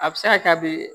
A bɛ se ka kɛ a bɛ